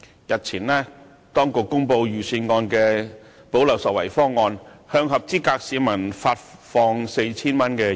日前當局公布財政預算案的"補漏拾遺"方案，向合資格市民發放現金 4,000 元。